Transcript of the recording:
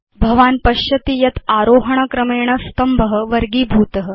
भवान् पश्यति यत् आरोहण क्रमेण स्तम्भ वर्गीभूत